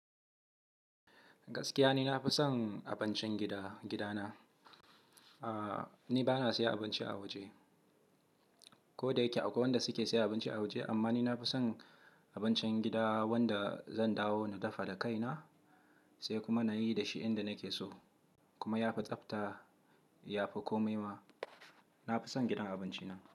Gaskiya ni na fi son abincin gida, gidana. Aaa, ni ba na saye abinci a waje. Ko da yake akwai wanda suke sayen abinci a waje, amma ni na fi son abincin gida wanda zan dawo na dafa da kaina sai kuma na yi da shi inda nake so kuma ya fi tsabta, ya fi komai ma. Na fi son gidan abinci na.